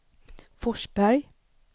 Forsberg